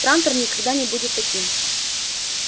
трантор никогда не будет таким